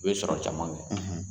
N'i ye sɔrɔ caman kɛ